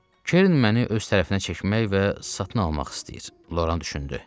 Kern məni öz tərəfinə çəkmək və satın almaq istəyir, Loran düşündü.